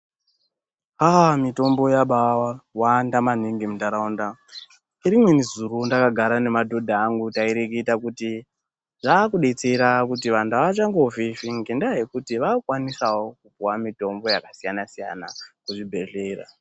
Haaa mitombo yabawanda maningi mundaraunda Inini zuro ndakagara nemadhodha angu taireketa kuti zvekudetsera vantu avachangofifi ngenyaya yekuti vaakukwanisawo kupiwawo mitombo yakasiyana siyana muzvibhedhlera.